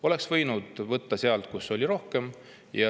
Oleks võinud võtta sealt, kus oli rohkem.